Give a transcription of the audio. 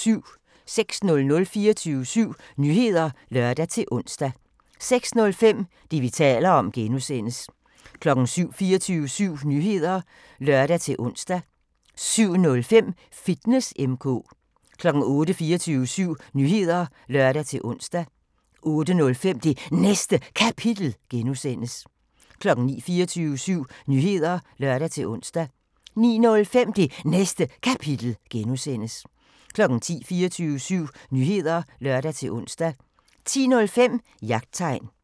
06:00: 24syv Nyheder (lør-ons) 06:05: Det, vi taler om (G) 07:00: 24syv Nyheder (lør-ons) 07:05: Fitness M/K 08:00: 24syv Nyheder (lør-ons) 08:05: Det Næste Kapitel (G) 09:00: 24syv Nyheder (lør-ons) 09:05: Det Næste Kapitel (G) 10:00: 24syv Nyheder (lør-ons) 10:05: Jagttegn